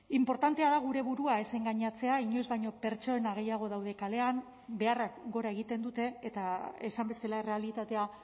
inportantea da gure burua ez engainatzea inoiz baino pertsona gehiago daude kalean beharrak gora egiten dute eta esan bezala errealitatea